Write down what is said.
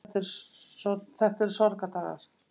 Þetta eru sorgardagar.